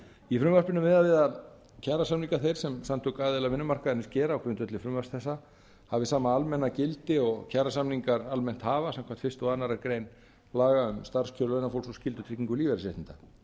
í frumvarpinu er miðað er við að kjarasamningar þeir sem samtök aðila vinnumarkaðarins gera á grundvelli frumvarps þessa hafi sama almenna gildi og kjarasamningar almennt hafa samkvæmt fyrstu og aðra grein laga um starfskjör launafólks og skyldutryggingu lífeyrisréttinda